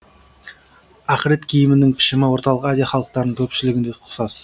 ақырет киімінің пішімі орталық азия халықтарының көпшілігінде ұқсас